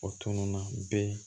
O tununna bɛɛ